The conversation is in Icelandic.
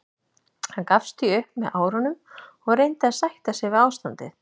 Hann gafst því upp með árunum og reyndi að sætta sig við ástandið.